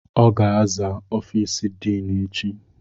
Ọ ga-aza ọfiisi diinu echi.